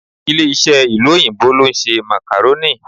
Ilé-iṣẹ́ ìlú òyìnbó ló ń ṣe Macarorni